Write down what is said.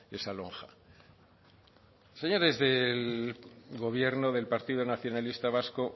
esa lonja señores del gobierno del partido nacionalista vasco